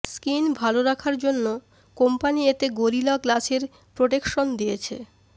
screen ভাল রাখার জন্য কোম্পানি এতে গোরিলা গ্লাসের প্রটেকশন দিয়েছে